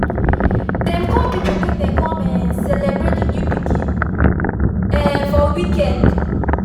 dem call people make dem con um celebrate the new pikin um for weekend